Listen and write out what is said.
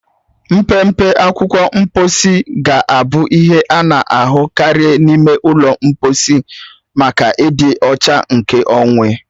Mpempe akwụkwọ mkposi ga-abụ ihe a na-ahụ karị n'ime ụlọ mkposi maka ịdị ọcha nkeonwe.